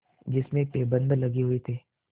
जिसमें पैबंद लगे हुए थे